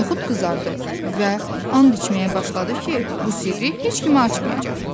Noxud qızardı və and içməyə başladı ki, bu sirri heç kimə açmayacaq.